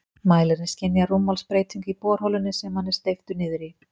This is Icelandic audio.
Mælirinn skynjar rúmmálsbreytingu í borholunni sem hann er steyptur niður í.